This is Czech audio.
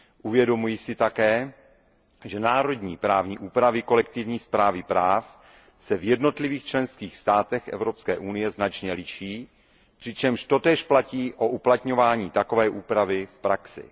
Uvědomuji si také, že národní právní úpravy kolektivní správy práv se v jednotlivých členských státech Evropské unie značně liší, přičemž totéž platí o uplatňování takové úpravy v praxi.